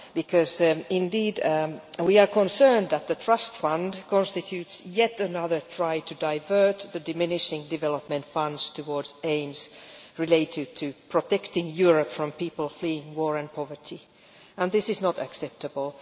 Because we are concerned that the Trust Fund constitutes yet another attempt to divert the diminishing development funds towards aims related to protecting Europe from people fleeing war and poverty and this is not acceptable.